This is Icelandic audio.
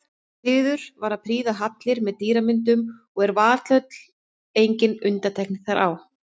Siður var að prýða hallir með dýramyndum og er Valhöll engin undantekning þar á.